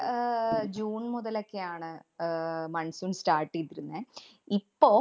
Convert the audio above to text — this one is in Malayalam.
അഹ് ജൂണ്‍ മുതലൊക്കെയാണ് ആഹ് monsoon start ചെയ്തിരുന്നേ. ഇപ്പൊ